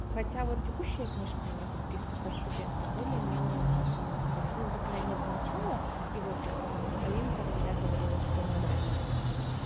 хотя вот текущая книжка у меня подписка про студента более-менее мне по-моему там ну по крайне мере начало и вот алинка вельда говорила что нормально всё